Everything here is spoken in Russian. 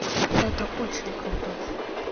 это очень круто